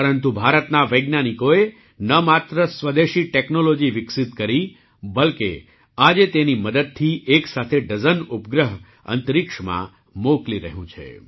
પરંતુ ભારતના વૈજ્ઞાનિકોએ સ્વદેશી ટૅક્નૉલૉજી તો વિકસિત કરી જ પરંતુ આજે તેની મદદથી એક સાથે ડઝન ઉપગ્રહ અંતરિક્ષમાં મોકલી રહ્યું છે